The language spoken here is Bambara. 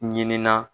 Ɲininka